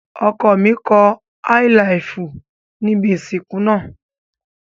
Ọkọ mi kọ Áílaàfù níbi ìsìnkú náà.